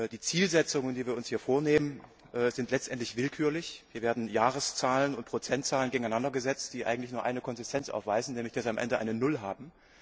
Die Zielsetzungen, die wir uns hier vornehmen, sind letztendlich willkürlich. Hier werden Jahreszahlen und Prozentzahlen gegeneinander gesetzt, die eigentlich nur eine Konstante aufweisen, nämlich dass sie am Ende eine Null haben.